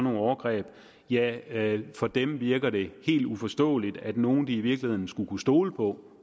overgreb ja for dem virker det helt uforståeligt at nogen de i virkeligheden skulle kunne stole på